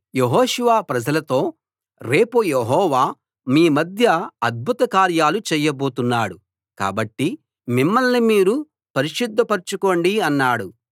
యెహోషువ ప్రజలతో రేపు యెహోవా మీ మధ్య అద్భుత కార్యాలు చేయబోతున్నాడు కాబట్టి మిమ్మల్ని మీరు పరిశుద్ధపరచుకోండి అన్నాడు